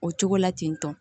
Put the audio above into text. O cogo la ten tɔ